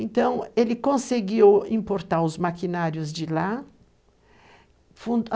Então ele conseguiu importar os maquinários de lá,